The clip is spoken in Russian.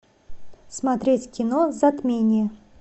смотреть кино затмение